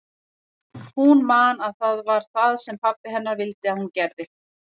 Hún man að það var það sem pabbi hennar vildi að hún gerði.